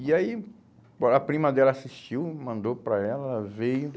E aí o a prima dela assistiu, mandou para ela, ela veio.